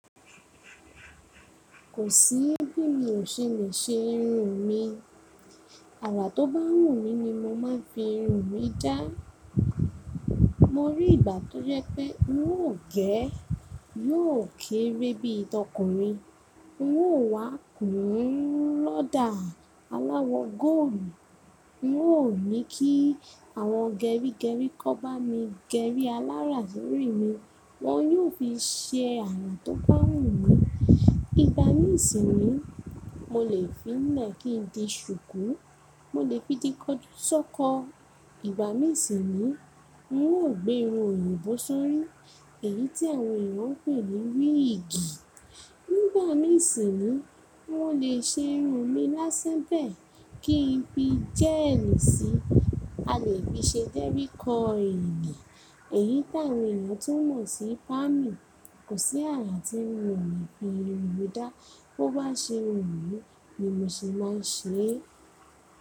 Kò sí bí mi ò ṣe lè ṣe irun mìí. Àrà tó bá wù mí ni mo máa ń fi irun mi dá. Mo rí ìgbà tó yẹ pé n ó gẹ̀ẹ́, yóò kéré bíi tọkùnrin, n ó wá kùn lọ́dà aláwọ̀ góòlù, n ó ní kí àwọn gerígerí kọ́ bá mi gerí alára sórí mi, wọ́n yóò fi ṣe àrà tó bá wù mí. Ìgbà mìí sì ni mo lè fi lẹ̀ kí n di ṣùkú, mo lè fi di kọjú sọ́kọ̀. Ìgbà mìíràn sì ni ń ó gbé irun òyìnbó sórí, èyí tí àwọn èèyàn ń pè ní wíìgì. Nígbà mìí sì ni wọ́n lè ṣe irun mi lásán bẹ̀ẹ́ kí n fi jẹ́ẹ̀lì síi, a lè fi ṣe jerry koili, èyí táwọn èèyàn tún mọ̀ sí pámì. Kò sí àrà tí ń wù mí fi irun mi dá, bó bá ṣe wù mí ni mo ṣe máa ń ṣe é.